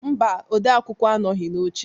Mba, odeakwụkwọ anọghị n'oche